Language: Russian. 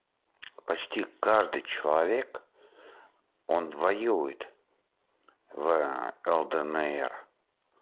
почти каждый человек он воюет в лднр